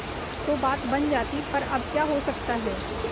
तो बात बन जाती पर अब क्या हो सकता है